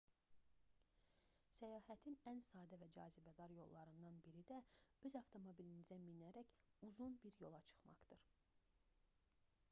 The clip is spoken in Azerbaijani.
səyahətin ən sadə və cazibədar yollarından biri də öz avtomobilinizə minərək uzun bir yola çıxmaqdır